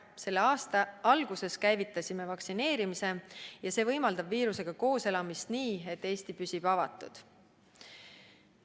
Selle aasta alguses käivitasime vaktsineerimise ja see võimaldab viirusega koos elamist nii, et Eesti püsib avatud.